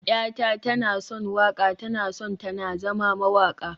yata tana son waƙa, tana son ta na zama mawaƙa